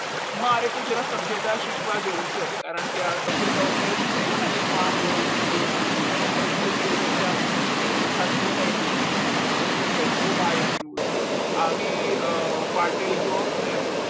મારે તો જરા સભ્યતા શીખવા જવું છે કારણ કે આ સભ્યતા ઉપર જ કીધું હતું ને કે તું આમ બોલ તેમ બોલ છે ને તે જ બે વચ્ચે ભેળું થાતું હતું ને એટલે ઓ ભાઈ અનિરુદ્ધ ફાટેલ job